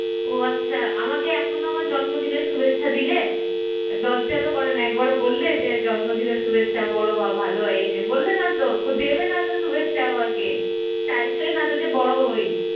ও আচ্ছা আমাকে এখনো আমার জন্মদিনের শুভেচ্ছা দিলে? লজ্জা তো করে না এক বারো কি বললে জন্মদিনের শুভেচ্ছা যে বড়ো হ, ভালো হ এই সেই বললে না তো দেবে না তো শুভেচ্ছা আমাকে চাইছোই না তো যে বড়ো হই, আমি